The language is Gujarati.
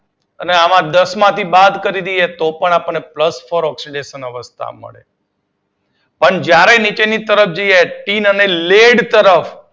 અને આમાં દસમાંથી બાદ કરી દઈએ તો પણ આપડને પ્લસ ફોર ઓક્સીડેશન અવસ્થા મળે. નીચેની તરફ જઈએ ત્યારે ટીન અને લીડ તરફ